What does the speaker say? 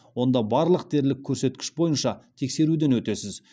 онда барлық дерлік көрсеткіш бойынша тексеруден өтесіз